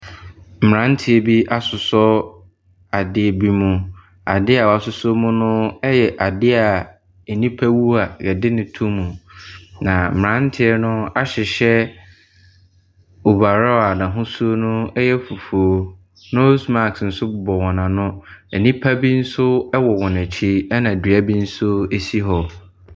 Mmeranteɛ bi asosɔ adeɛ bi mu. Adeɛ a wɔasosɔ mu no yɛ adeɛ a nnipa wu a wɔde no to mu, na mmeranteɛ no ahyehyɛ over raw a n'ahosuo no yɛ fufuo. Nose mask nso bobɔ wɔn ano. Nnipa bi nso wowɔ wɔn akyi, ɛna dua bi nso si hɔ.